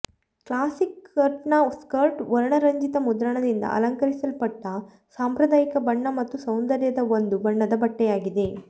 classic ಕಟ್ನ skirt ವರ್ಣರಂಜಿತ ಮುದ್ರಣದಿಂದ ಅಲಂಕರಿಸಲ್ಪಟ್ಟ ಸಾಂಪ್ರದಾಯಿಕ ಬಣ್ಣ ಮತ್ತು ಸೌಂದರ್ಯದ ಒಂದು ಬಣ್ಣದ ಬಟ್ಟೆಯಾಗಿದೆ